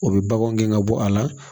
O bɛ baganw gɛn ka bɔ a la